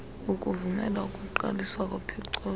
kukuvumela ukuqaliswa kopicotho